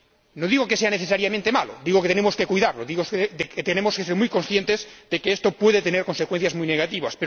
No digo que esto sea necesariamente malo, digo que tenemos que cuidarlo, que tenemos que ser muy conscientes de que esto puede tener consecuencias muy negativas.